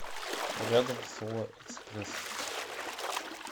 рядом соло экспресс